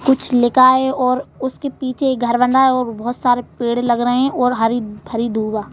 कुछ लिखा है और उसके पीछे एक घर बन रहा है और बहुत सारे पेड़ लग रहे हैं और हरी भरी धूवा--